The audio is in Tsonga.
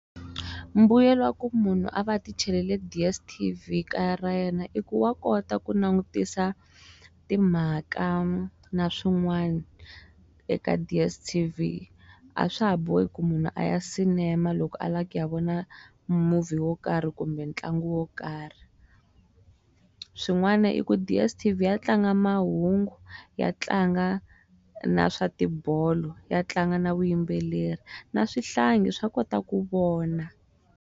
Mbuyelo wa ku munhu a va a tichelele D_s_t_v kaya ra yena i ku wa kota ku langutisa timhaka na swin'wani eka D_s_t_v a swa ha bohi ku munhu a ya sinema loko a lava ku ya vona movie wo karhi kumbe ntlangu wo karh. Swin'wana i ku D_s_t_v ya tlanga mahungu, ya tlanga na swa tibolo, ya tlanga na vuyimbeleri na swihlangi swa kota ku vona.